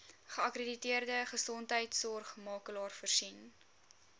geakkrediteerde gesondheidsorgmakelaar voorsien